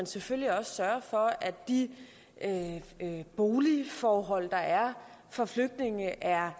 selvfølgelig også sørge for at de boligforhold der er for flygtninge er